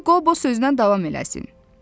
Qoy Qobo sözünə davam eləsin.